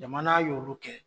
Jamana y'olu kɛ.